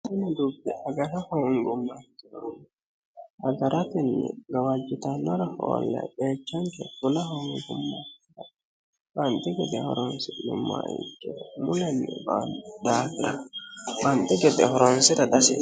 Kuni dubbi agara hoongumoha ikkiro agarateni gawajitannore hoolle qeechanke fula hoongumoro banxi gede horonsi'neemmoha ikkiro mulenni ba"anno daafira banxi gede horoonsira dihasiissano.